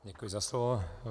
Děkuji za slovo.